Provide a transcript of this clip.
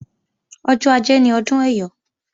Ọjọ́ ajé ni ọdún Ẹyọ̀